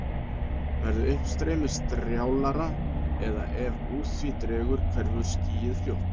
Verði uppstreymið strjálara eða ef úr því dregur hverfur skýið fljótt.